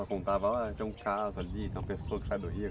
Ela contava, ah, tinha um caso ali, tem uma pessoa que sai do rio.